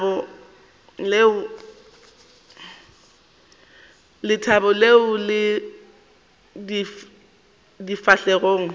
lethabo leo le ipeilego difahlegong